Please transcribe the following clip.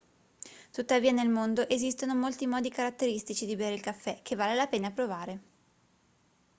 tuttavia nel mondo esistono molti modi caratteristici di bere il caffè che vale la pena provare